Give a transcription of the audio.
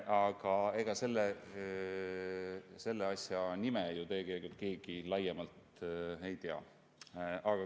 Aga ega selle asja nime ju tegelikult keegi laiemalt ei tea.